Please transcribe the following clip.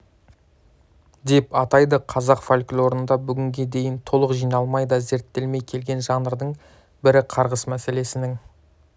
деп атайды қазақ фольклорында бүгінге дейін толық жиналмай да зерттелмей келген жанрдың бірі қарғыс мәселенің